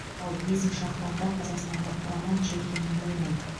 ал бесінші ақпанда қазақстандық құрама чехиямен ойнайды